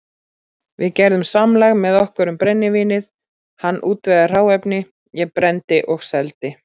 Við gerðum samlag með okkur um brennivínið, hann útvegaði hráefni, ég brenndi og seldi.